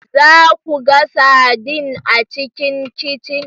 Za ku ga sardine a cikin kicin